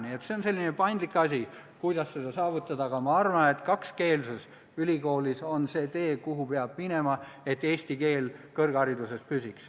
Nii et see on selline paindlik asi, aga ma arvan, et kakskeelsus on ülikoolides see tee, mida mööda peab minema, et eesti keel kõrghariduses püsiks.